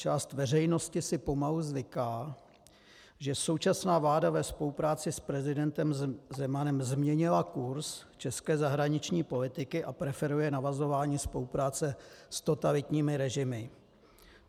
Část veřejnosti si pomalu zvyká, že současná vláda ve spolupráci s prezidentem Zemanem změnila kurz české zahraniční politiky a preferuje navazování spolupráce s totalitními režimy.